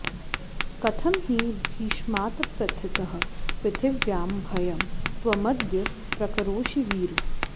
कथं हि भीष्मात्प्रथितः पृथिव्यां भयं त्वमद्य प्रकरोषि वीर